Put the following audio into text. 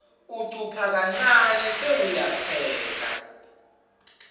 ucupha kancane sewuyapheka